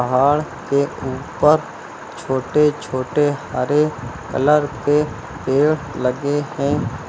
पहाड़ के ऊपर छोटे छोटे हरे कलर के पेड़ लगे हैं।